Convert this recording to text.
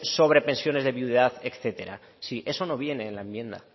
sobre pensiones de viudedad etcétera sí eso no viene en la enmienda